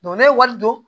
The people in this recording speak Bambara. n'a ye wari don